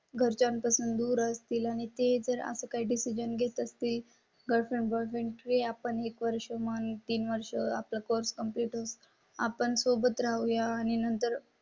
घरच्यांपासून दूर असतील आणि ते जर असं काही डिसिजन घेत असते. गट नंबर वन ट्री आपण एक वर्ष म्हणतो तीन वर्ष आपला कोर्स कम्प्लीट होता. आपण सोबत राहू या आणि नंतर.